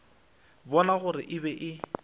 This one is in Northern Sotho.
bona gore e be e